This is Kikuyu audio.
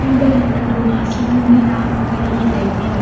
Wambere nĩ tondũ macini nĩĩrahũthira ihinda inini